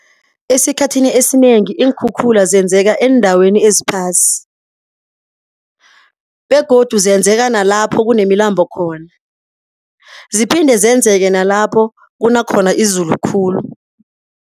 Esikhathini esinengi iinkhukhula zenzeka eendaweni eziphasi begodu zenzeka nalapho kunemilambo khona. Ziphinde zenzeke nalapho kuna khona izulu khulu.